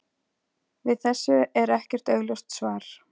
Við þessu er ekkert augljóst svar.